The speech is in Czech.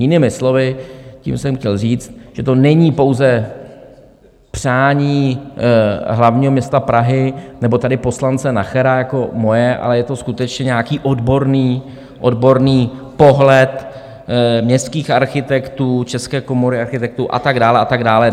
Jinými slovy, tím jsem chtěl říct, že to není pouze přání hlavního města Prahy nebo tady poslance Nachera, jako moje, ale je to skutečně nějaký odborný pohled městských architektů, České komory architektů a tak dále a tak dále.